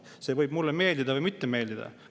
See võib mulle meeldida või mitte meeldida.